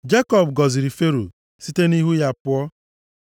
Jekọb gọziri Fero, site nʼihu ya pụọ.